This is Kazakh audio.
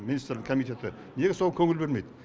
министрлік комитеті неге соған көңіл бөлмейді